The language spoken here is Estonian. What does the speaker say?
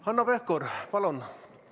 Hanno Pevkur, palun!